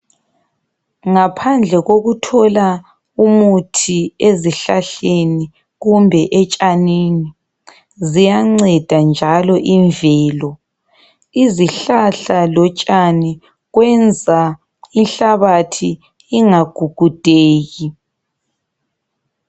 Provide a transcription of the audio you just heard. Ngaphandle kokuthola umuthi ezihlahleni kumbe etshanini ziyanceda njalo imvelo izihlahla lotshani kwenza inhlabathi ingagugudeki.